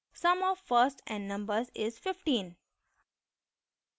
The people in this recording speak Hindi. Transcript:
sum of first n numbers is 15